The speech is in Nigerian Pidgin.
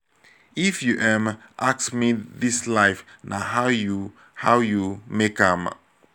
if you um ask me dis life na how you how you make am.